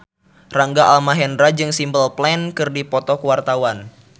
Rangga Almahendra jeung Simple Plan keur dipoto ku wartawan